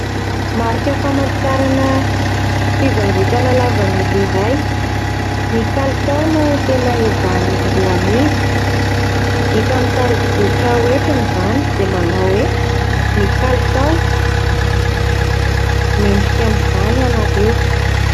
Marika famantarana fivarotana lavanilina iray. Ny kalitao no tena ezahan'izy ireo amidy. Hita amin'ny tarigetra hoentina izany izay manao hoe ny kalitao, mendrika an'izany ianareo.